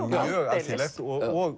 mjög alþýðlegt og